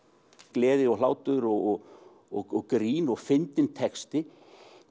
gleði og hlátur og og grín og fyndinn texti